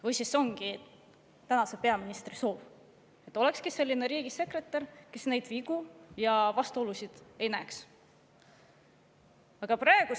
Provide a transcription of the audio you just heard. Või siis see ongi tänase peaministri soov, et olekski selline riigisekretär, kes neid vigu ja vastuolusid ei näeks?